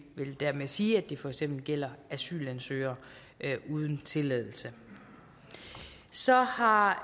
vil dermed sige at det for eksempel gælder asylansøgere uden tilladelse så har